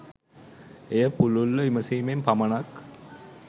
එය පුළුල්ව විමසීමෙන් පමණක්